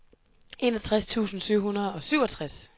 enogtres tusind syv hundrede og syvogtres